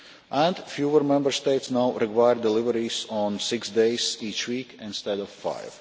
And fewer Member States now require deliveries on six days each week instead of five.